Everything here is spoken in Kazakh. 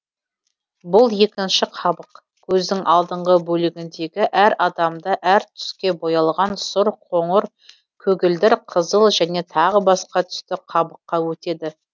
бұл екінші қабық көздің алдыңғы бөлігіндегі әр адамда әр түске боялған сұр қоңыр көгілдір қызыл және тағы басқа түсті қабыққа өтеді